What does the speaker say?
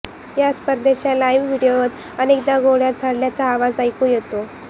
या स्पर्धेच्या लाइव्ह व्हिडिओत अनेकदा गोळय़ा झाडल्याचा आवाज ऐकू येतो